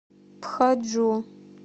пхаджу